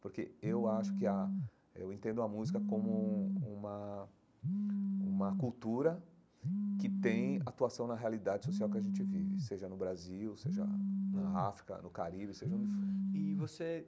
Porque eu acho que a eu entendo a música como uma uma cultura que tem atuação na realidade social que a gente vive, seja no Brasil, seja na África, no Caribe, seja onde for e você.